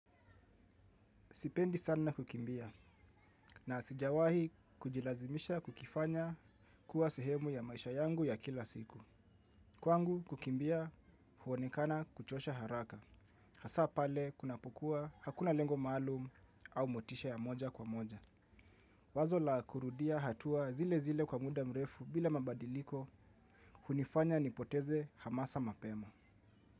Sipendi sana kukimbia na sijawahi kujilazimisha kukifanya kuwa sehemu ya maisha yangu ya kila siku. Kwangu kukimbia huonekana kuchosha haraka. Hasa pale kunapokua hakuna lengo maalum au motisha ya moja kwa moja. Wazo la kurudia hatua zile zile kwa muda mrefu bila mabadiliko hunifanya nipoteze hamasa mapema.